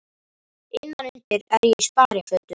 Innan undir er ég í sparifötunum.